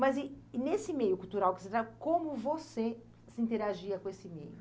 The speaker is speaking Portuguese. Mas nesse meio cultural que você está, como você se interagia com esse meio?